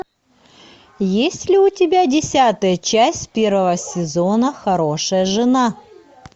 есть ли у тебя десятая часть первого сезона хорошая жена